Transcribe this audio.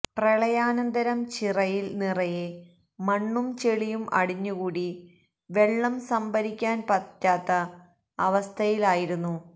പ്രളയാനന്തരം ചിറയിൽ നിറയെ മണ്ണും ചെളിയും അടിഞ്ഞുകൂടി വെള്ളം സംഭരിക്കാൻ പറ്റാത്ത അവസ്ഥയിലായിരുന്നു